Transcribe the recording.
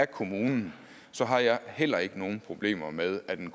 kommunen har jeg heller ikke nogen problemer med at en